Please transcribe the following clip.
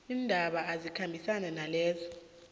iindaba ezikhambisana nalezo